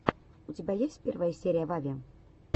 у тебя есть первая серия вави